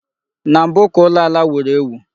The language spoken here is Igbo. Na mbụ ka ụlọ ala wuru ewu